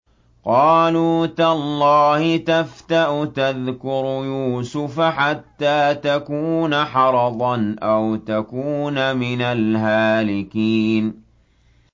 قَالُوا تَاللَّهِ تَفْتَأُ تَذْكُرُ يُوسُفَ حَتَّىٰ تَكُونَ حَرَضًا أَوْ تَكُونَ مِنَ الْهَالِكِينَ